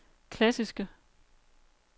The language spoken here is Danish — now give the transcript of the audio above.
klassiske